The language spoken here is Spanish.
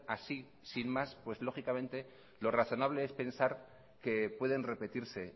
así sin más pues lógicamente lo razonable es pensar que pueden repetirse